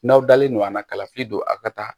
N'aw dalen don a la kalafili don a ka taa